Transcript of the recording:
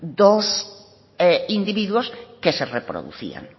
dos individuos que se reproducían